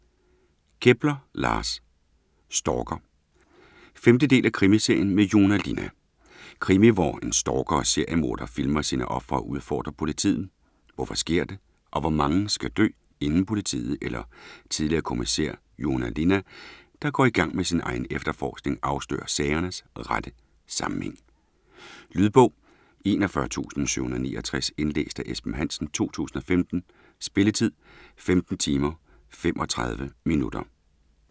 Kepler, Lars: Stalker 5. del af krimiserien med Joona Linna. Krimi hvor en stalker og seriemorder filmer sine ofre og udfordrer politiet. Hvorfor sker det, og hvor mange skal dø, inden politiet eller tidligere kommissær Joona Linna, der går i gang med sin egen efterforskning, afslører sagernes rette sammenhæng? Lydbog 41769 Indlæst af Esben Hansen, 2015. Spilletid: 15 timer, 35 minutter.